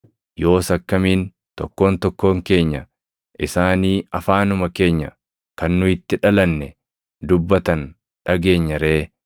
Yoos akkamiin tokkoon tokkoon keenya isaanii afaanuma keenya kan nu itti dhalanne dubbatan dhageenya ree?